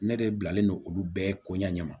Ne de bilalen don olu bɛɛ ko ɲɛ ɲɛ ma